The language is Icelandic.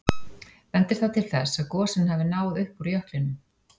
Bendir það til þess að gosin hafi náð upp úr jöklinum.